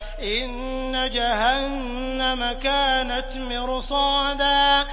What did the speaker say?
إِنَّ جَهَنَّمَ كَانَتْ مِرْصَادًا